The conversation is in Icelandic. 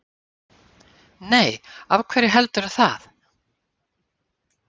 Nei, af hverju heldurðu það?